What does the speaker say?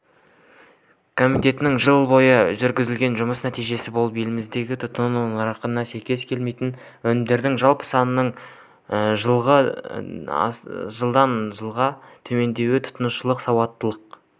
комитеттің жыл бойы жүргізген жұмыс нәтижесі болып еліміздің тұтыну нарығындағы сәйкес келмейтін өнімдердің жалпы санының жылғыы дан жылғы төмендеуі тұтынушылық сауаттылық